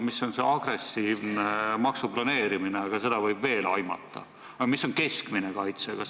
Mis on agressiivne maksuplaneerimine, seda võib veel aimata, ent mis on keskmine kaitse?